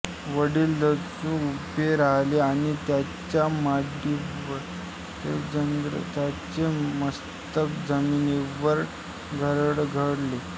वडील दचकून उभे राहिले आणि त्यांच्या मांडीवरले जयद्रथाचे मस्तक जमिनीवर घरंगळले